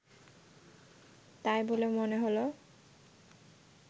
তাই বলে মনে হল